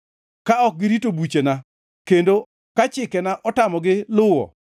ka ok girito buchena kendo ka chikena otamogi luwo,